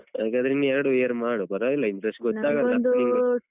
ಹಾಗಾದ್ರೆ ಇನ್ನು ಎರಡು year ಮಾಡು ಪರ್ವಾಗಿಲ್ಲ interest ಗೊತ್ತಾಗಲ್ಲ